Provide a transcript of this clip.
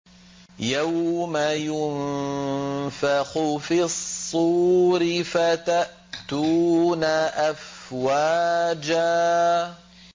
يَوْمَ يُنفَخُ فِي الصُّورِ فَتَأْتُونَ أَفْوَاجًا